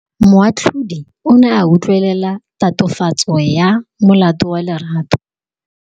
Moatlhodi o ne a utlwelela tatofatsô ya molato wa Lerato.